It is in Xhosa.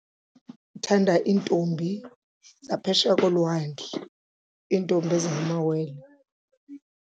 Ndithanda iintombi zaphesheya kolwandle, iintombi ezingamawele.